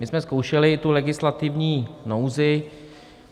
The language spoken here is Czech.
My jsme zkoušeli tu legislativní nouzi.